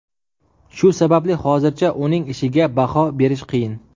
Shu sababli hozircha uning ishiga baho berish qiyin.